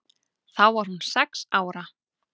Þá var hún sex ára.